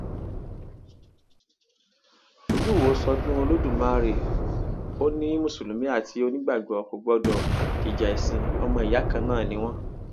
olùwọọ ṣọdún olódùmarè ó ní mùsùlùmí àti onígbàgbọ kò gbọdọ jíja ẹsìn ọmọ ìyá kan náà ni wọn